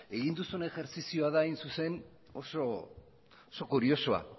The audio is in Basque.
egin duzun ejerzizioa da hain zuzen oso kuriosoa